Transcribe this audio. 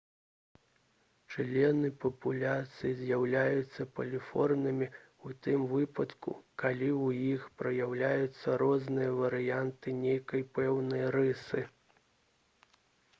члены папуляцыі з'яўляюцца паліморфнымі ў тым выпадку калі ў іх праяўляюцца розныя варыянты нейкай пэўнай рысы